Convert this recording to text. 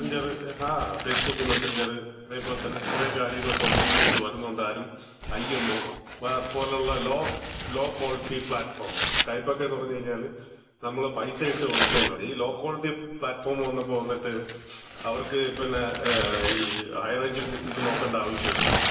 Messenger, ആ Facebook Messenger, അതേപോലെ തന്നെ കൊറേ കാര്യങ്ങൾ സോഷ്യൽ മീഡിയാസില് വരുന്നത് കൊണ്ട് തന്നെ ആരും, ഐഎംഒ, പോലുള്ള ലോ, ലോക്വാളിറ്റി പ്ലാറ്റ്ഫോം, സ്കൈപ്പെന്നൊക്കെ പറഞ്ഞ് കഴിഞ്ഞാല്, നമ്മള് പൈസ ഇട്ട് വിളിക്കേണ്ടതാണ്. ഈ ലോ ക്വാളിറ്റി പ്ലാറ്റ്ഫോം വന്നപ്പോ വന്നിട്ട് അവർക്ക് പിന്നെ ഈ ഹൈറേഞ്ച് ഇത് നോക്കേണ്ട ആവശ്യമില്ലല്ലോ.